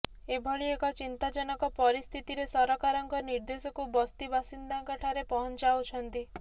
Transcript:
ଏଭଳି ଏକ ଚିନ୍ତାଜନକ ପରିସ୍ଥିତିରେ ସରକାରଙ୍କ ନିର୍ଦ୍ଦେଶକୁ ବସ୍ତି ବାସିନ୍ଦାଙ୍କଠାରେ ପହଞ୍ଚାଉଛନ୍ତି